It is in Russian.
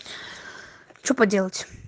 что поделать